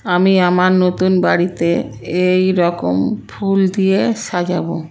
আমি আমার নতুন বাড়িতে এ-এইরকম ফুল দিয়ে সাজাবো।